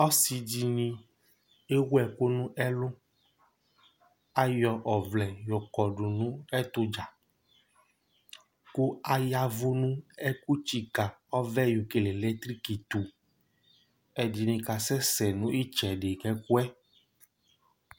Asi dìní ewu ɛku nʋ ɛlu Ayɔ ɔvlɛ yɔ kɔdu nʋ ɛtu dza kʋ ayavʋ nʋ ɛkʋ tsika ɔvɛ yɔ kele lɛtriki tu Ɛdiní kasɛsɛ nʋ itsɛdi nʋ ɛgɔ